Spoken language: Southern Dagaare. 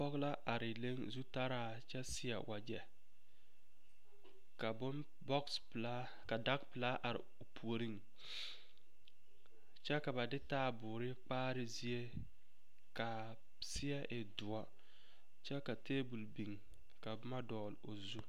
Pɔge la are leŋ zutaraa kyɛ seɛ wagyɛ ka boŋ boosi pelaa ka dage pelaaa are o puoriŋ kyɛ ka ba de taaboore kpaare zie ka a seɛ e doɔ kyɛ ka tebol biŋ ka boma dɔgle o zu.